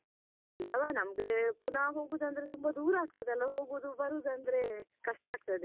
ಇಲ್ಲವ ನಮ್ಗೆ ಪುನಹಹೋಗುದಂದ್ರೆ ತುಂಬಾ ದೂರ ಆಗ್ತದಲ್ಲ ಹೋಗುದು ಬರುದಂದ್ರೆ ಕಷ್ಟ ಆಗ್ತದೆ.